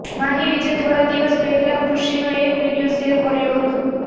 માહી વિજે થોડા દિવસ પહેલા ખુશીનો એક વીડિયો શેર કર્યો હતો